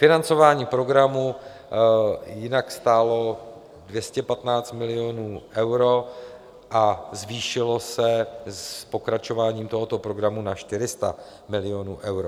Financování programu jinak stálo 215 milionů eur a zvýšilo se s pokračováním tohoto programu na 400 milionů eur.